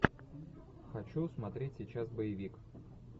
хочу смотреть сейчас боевик